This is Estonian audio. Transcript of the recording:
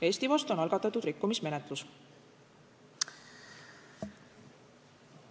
Eesti vastu on algatatud rikkumismenetlus.